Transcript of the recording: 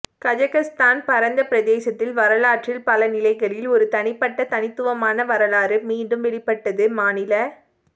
Kazakhstan பரந்த பிரதேசத்தில் வரலாற்றில் பல நிலைகளில் ஒரு தனிப்பட்ட தனித்துவமான வரலாறு மீண்டும் வெளிப்பட்டது மாநில